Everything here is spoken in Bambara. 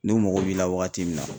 Ni u mago b'i la wagati min na.